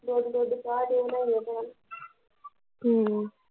ਦੁੱਧ ਦੁੱਧ ਚਾਹ ਚੁ ਬਣਾਈਏ ਟੈਮ ਹਮ